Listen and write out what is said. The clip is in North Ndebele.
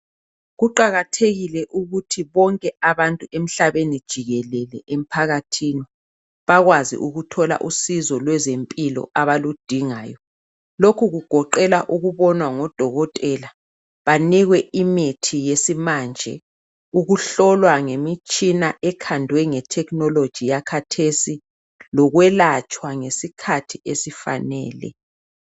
Kuqakathekile ukuthi bonke abantu emhlabeni jikelele emphakathini bakwazi ukuthola usizo lwezempilo abaludingayo lokhu kugoqela ukubonwa ngodokotela banikwe imithi yesimanje, ukuhlolwa ngemitshina ekhandwe nge"technology"yakhathesi, lokwelatshwa ngesikhathi esifanele.